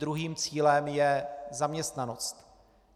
Druhým cílem je zaměstnanost.